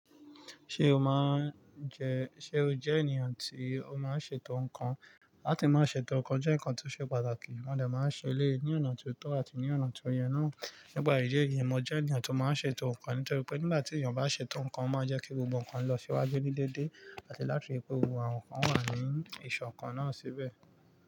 Ṣé o máa ń jẹ, ṣe o jẹ́ ènìyàn tí o máa ń ṣètò nǹkan? Láti máa ṣètò nǹkan jẹ́ nǹkan tí ó ṣe pàtàkì. Wọ́n dẹ̀ máa ń ṣe é ní ọ̀nà tó tọ́ àti ní ọ̀nà tó yẹ náà. Nígbà yìí jẹ́, ìyẹn mo jẹ́ ènìyàn tó máa ń ṣètò nǹkan. Ṣètò nkan, nígbà tí èèyàn bá ṣètò nkán, ó maa jẹ́ kí gbogbo nkán lọ síwájú ní déédé, àti láti jẹ́ kí àwọn nkán wà ní ìṣọ̀kan náà síbẹ̀.